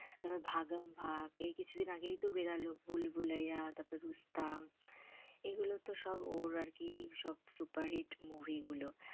তারপর ভাগাম ভাগ এই কিছু দিন আগেই তো বেরোল, ভুলভুলাইয়া তারপর রুস্তাম, এ গুলো তো সব ওর আরকি সব সুপারহিট movie গুলো।